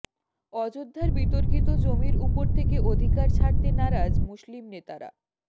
অযোধ্যার বিতর্কিত জমির উপর থেকে অধিকার ছাড়তে নারাজ মুসলিম নেতারা